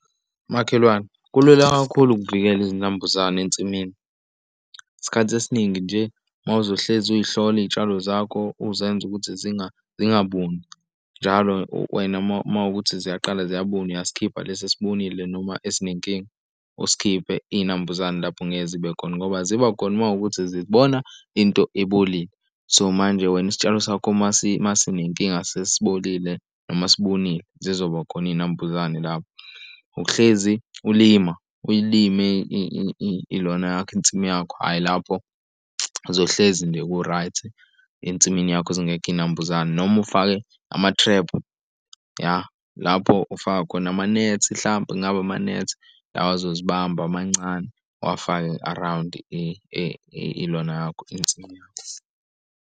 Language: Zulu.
Makhelwane kulula kakhulu ukuvikela izinambuzane ensimini. Isikhathi esiningi nje uma uzohlezi uzihlole iy'tshalo zakho uzenza ukuthi zingabuni njalo wena uma kukuthi ziyaqala ziyabuna uyasikhipha lesi esibunile noma esinenkinga usikhiphe iy'nambuzane lapho ngeke zibe khona ngoba zibakhona uma kuwukuthi zibona into ebolile. So manje wena isitshalo sakho uma sinenkinga sesibolile noma sibunile zizobakhona iy'nambuzane lapho. Ukuhlezi ulima uyilimi ilona yakho insimu yakho, hhayi lapho zizohlezi nje ku-right ensimini yakho zingekho iy'nambuzane noma ufake amathrephu yah lapho ufaka khona amanethi hlampe kungaba amanethi lawa azozibamba amancane uwafake around ilona yakho insimi yakho.